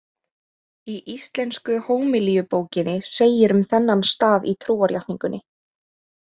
Í Íslensku hómilíubókinni segir um þennan stað í trúarjátningunni: